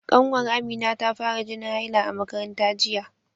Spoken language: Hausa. Ƙanwar Amina ta fara jinin haila a makaranta jiya.